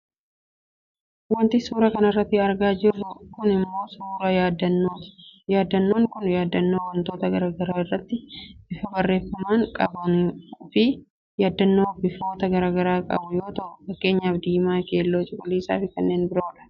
Wanti suuraa kanarratti argaa jirru kun ammoo suuraa yaaddannooti. Yaaddannoon kun yaaddannoo wantoota gara garaa irratti bifa barreeffamaan qabannuufi yaaddannoo bifoota gara garaa qabu yoo ta'u fakkeenyaaf diimaa; keelloo, cuquliisaafi kanneen biroodha.